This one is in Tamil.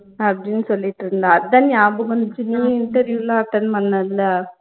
அப்படின்னு சொல்லிட்டுருந்தா அதான் நியாபகம் வந்துச்சு நீ interview லாம் attend பண்ணல்ல